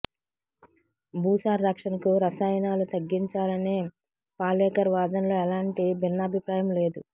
భూ సార రక్షణకు రసాయనాలు తగ్గించాలనే పాలేకర్ వాదనలో ఏలాంటి భిన్నాభిప్రాయం లేదు